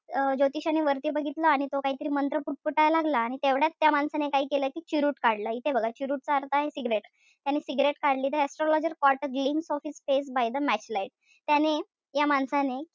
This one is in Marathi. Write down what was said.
अं बघितलं. आणि तो काहीतरी मंत्र पुटपुटायला लागला. आणि तेवढ्यात त्या माणसाने काय केलं कि चिरूट काढलं. इथे बघा. चिरूट चा अर्थ आहे cigarette. त्याने cigarette काढली. The astrologer caught a glimpse of his face by the match light त्याने त्या माणसाने,